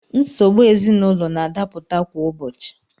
Nsogbu ezinaụlọ na-adapụta kwa ụbọchị.